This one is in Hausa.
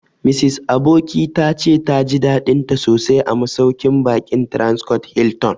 Mrs Aboki ta ce ta ji daɗinta sosai a masauƙin baƙin Transcorp Hilton